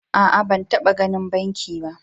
A'a, ba taba ganin banki ba.